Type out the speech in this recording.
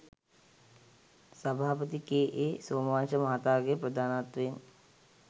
සභාපති කේ.ඒ. සෝමවංශ මහතාගේ ප්‍රධානත්වයෙන්